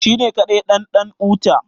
shi ne kadai ɗan ɗan'uta